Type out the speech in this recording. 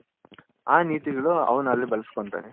ಆ ನೀತಿಗಳು ಅವನು ಅಲ್ಲಿ ಬಳಸ್ಕೊಲ್ಲ್ತಾನೆ